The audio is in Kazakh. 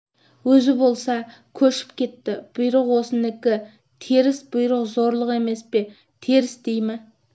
өзі болса көшіп кетті бұйрық осынікі теріс бұйрық зорлық емес пе теріс дей ме